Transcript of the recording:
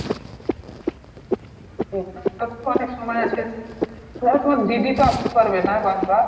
আর অনেক সময় আছে তও তোমার দিদি তো আস্তে পারবে না বার বার।